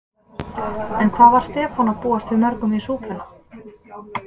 En hvað var Stefán að búast við mörgum í súpuna?